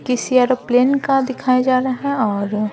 किसी एरोप्लेन का दिखाया जा रहा है और --